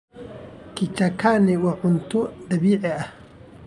Kichakani waa cunto dabiici ah.